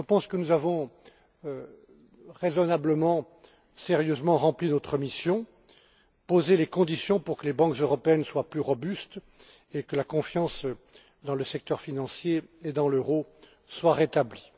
Je pense que nous avons raisonnablement et sérieusement rempli notre mission, en posant les conditions pour que les banques européennes soient plus robustes et que la confiance dans le secteur financier et dans l'euro soit rétablie.